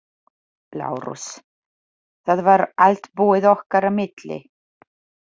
LÁRUS: Það var allt búið okkar á milli.